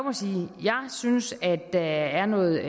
synes at der er noget